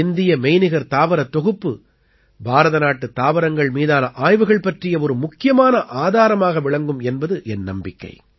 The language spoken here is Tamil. இந்திய மெய்நிகர் தாவரத் தொகுப்பு பாரத நாட்டுத் தாவரங்கள் மீதான ஆய்வுகள் பற்றிய ஒரு முக்கியமான ஆதாரமாக விளங்கும் என்பது என் நம்பிக்கை